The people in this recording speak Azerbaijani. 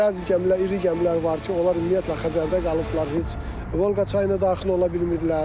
Bəzi gəmilər, iri gəmilər var ki, onlar ümumiyyətlə Xəzərdə qalıblar, heç Volqa çayına daxil ola bilmirlər.